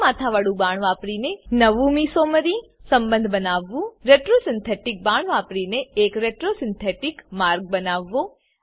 બે માથાવાળું બાણ વાપરીને નવું મેસોમેરી સંબંધ બનાવવું retro સિન્થેટિક બાણ વાપરીને એક retro સિન્થેટિક માર્ગ બનાવવો